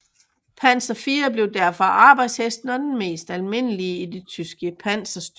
Panzer IV blev derfor arbejdshesten og den mest almindelige i de tyske panserstyrker